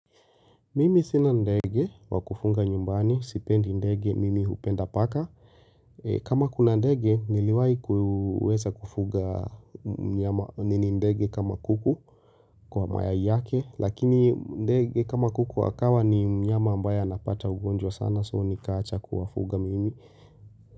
Mimi sina ndege, wakufunga nyumbani, sipendi ndege, mimi hupenda paka. Kama kuna ndege, niliwai kuuweza kufuga myama nini ndege kama kuku kwa mayai yake, lakini ndege kama kuku akawa ni mnyama ambaya anapata ugonjwa sana, so nikaacha kuwafuga mimi.